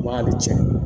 Ba bɛ tiɲɛ